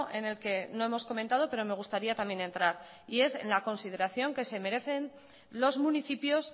en el que no hemos comentado pero me gustaría también entrar y es enla consideración que se merecen los municipios